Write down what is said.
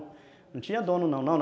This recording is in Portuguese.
Não tinha dono não, não.